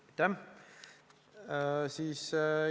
Aitäh!